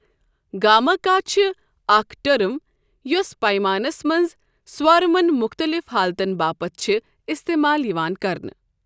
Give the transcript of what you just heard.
گاماکا چھِ اکھ ٹرٕم یوٚس پیمانَس منٛز سوارمَن مختلف حالتَن باپتھ چھِ استعمال یِوان کرنہٕ۔